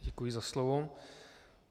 Děkuji za slovo.